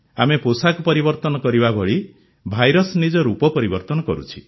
ଆମେ ପୋଷାକ ପରିବର୍ତ୍ତନ କରିବା ଭଳି ଭାଇରସ୍ ନିଜ ରୂପ ପରିବର୍ତନ କରୁଛି